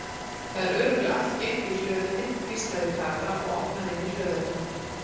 Það er örugglega allt geymt í hlöðunni hvíslaði Kata og opnaði inn í hlöðuna.